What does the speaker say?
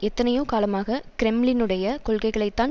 எத்தனையோ காலமாக கிரெம்ளினுடைய கொள்கைகளை தான்